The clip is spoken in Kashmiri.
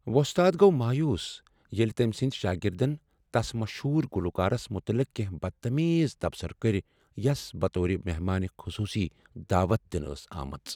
وۄستاد گو مویوٗس ییلہِ تمہِ سٕندِ شٲگِردن تس مشہوٗر گلوکارس متعلق کٮ۪نٛہہ بدتمیز تبصرٕ کٔرِ یس بطور مہمان خصوصی دعوتھ دِنہ آمٕژ ٲس ۔